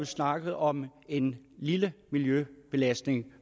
snakkede om en lille miljøbelastning